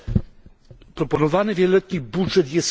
Proponowany wieloletni budżet jest skromny.